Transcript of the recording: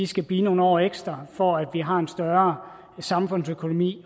skal blive nogle år ekstra for at vi har en større samfundsøkonomi